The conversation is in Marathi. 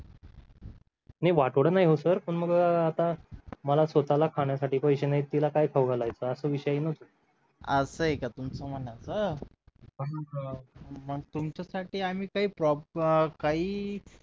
नाही वाटोळं नाही हो सर मला स्वतःला खाण्यासाठी पैसे नाही तिला काय खाऊ घालायचास विषय येईल ना असं आहे का तुमचं म्हणायचं मग तुमच्या साठी आम्ही काही प्रॉप काही